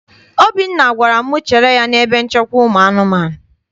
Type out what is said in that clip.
Obinna gwara m chere ya n'ebe nchekwa ụmụ anụmanụ.